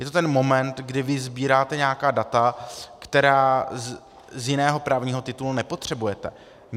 Je to ten moment, kdy vy sbíráte nějaká data, která z jiného právního titulu nepotřebujete.